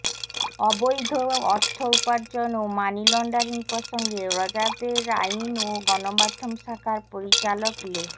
অবৈধ অর্থ উপার্জন ও মানি লন্ডারিং প্রসঙ্গে র্যাবের আইন ও গণমাধ্যম শাখার পরিচালক লে